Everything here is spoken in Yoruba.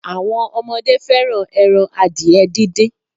Àwọn ọmọdé fẹ́ràn ẹran adìẹ díndín.